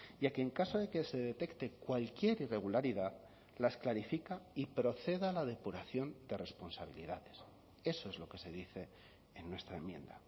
y a que en caso de que se detecte cualquier irregularidad las clarifica y proceda a la depuración de responsabilidades eso es lo que se dice en nuestra enmienda